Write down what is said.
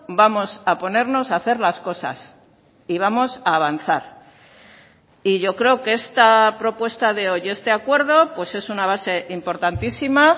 vamos a ponernos a hacer las cosas y vamos a avanzar y yo creo que esta propuesta de hoy este acuerdo pues es una base importantísima